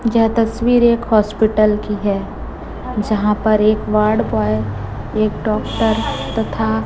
यह तस्वीर एक हॉस्पिटल की है जहां पर एक वार्ड बॉय एक डॉक्टर तथा--